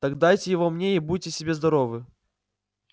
так дайте его мне и будьте себе здоровы